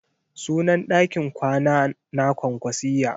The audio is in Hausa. Sunan ɗakin kwana na kwankwasiyya.